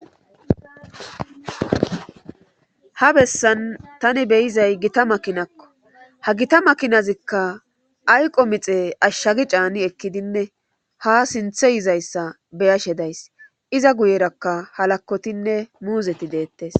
Ha bessan tani beyizay gita makinakko ha gita makinazikka ayqo mixe ashshagi caani ekkidinne ha sinthe yizayssa beyashe days iza guyerakka halakotinne muuzeti deettes